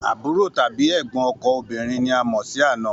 Àbúrò tàbí ẹ̀gbọ́n ọkọ òbínrin ni a a mọ̀ sí àna